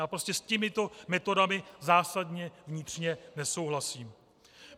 Já prostě s těmito metodami zásadně vnitřně nesouhlasím.